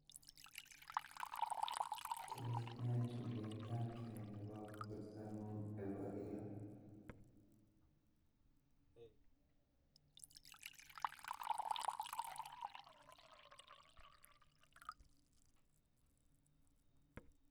Tos nee chuletabgee nebo bortongung nebo kila